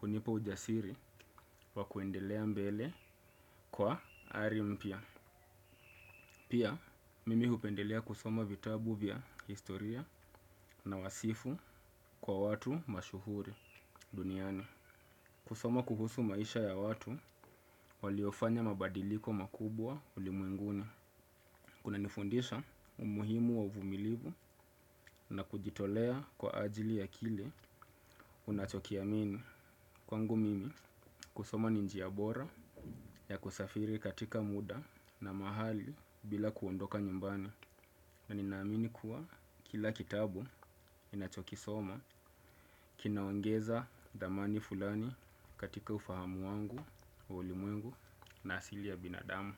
hunipa ujasiri wakuendelea mbele kwa ari mpya. Pia mimi hupendelea kusoma vitabu vya historia na wasifu kwa watu mashuhuri duniani, kusoma kuhusu maisha ya watu waliofanya mabadiliko makubwa ulimwenguni. Kuna nifundisha umuhimu wa uvumilivu na kujitolea kwa ajili ya kile unachokiamini. Kwangu mimi kusoma ni njia bora ya kusafiri katika muda na mahali bila kuondoka nyumbani. Na ninaamini kuwa kila kitabu ninachokisoma kinaongeza dhamani fulani katika ufahamu wangu wa ulimwengu na asili ya binadamu.